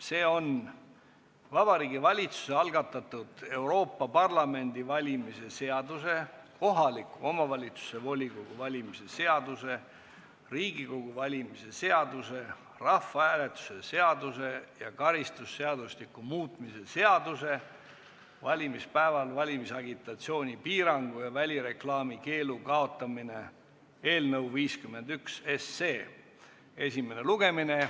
See on Vabariigi Valitsuse algatatud Euroopa Parlamendi valimise seaduse, kohaliku omavalitsuse volikogu valimise seaduse, Riigikogu valimise seaduse, rahvahääletuse seaduse ja karistusseadustiku muutmise seaduse eelnõu 51 esimene lugemine.